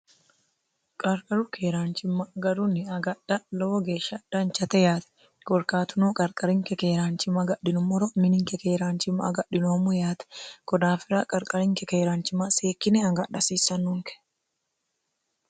qarqaru keeraanchimma garunni agadha lowo geeshsha dhanchate yaate gorkaatunoo qarqarinke keeraanchimma agadhinummoro mininke keeraanchimma agadhinoommo yaate godaafira qarqarinke keeraanchima seekkine agadhi hasiissannunke